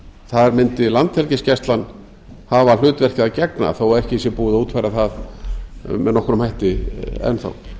þar mundi landhelgisgæslan hafa hlutverki að gegna þó að ekki sé búið að útfæra það með nokkrum hætti enn þá